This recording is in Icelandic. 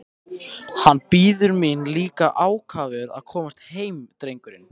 Hann bíður mín líka ákafur að komast heim drengurinn!